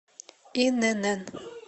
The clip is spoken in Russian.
инн